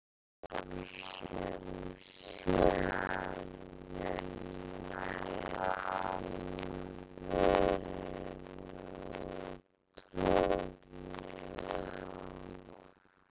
Ég fór sem sé að vinna í álverinu og tók mig á.